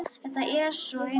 Þetta er svona eins og.